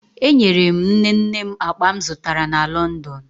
Enyere m nne nne m akpa m zụtara na Lọndọn